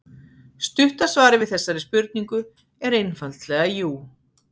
Stutta svarið við þessari spurningu er einfaldlega jú.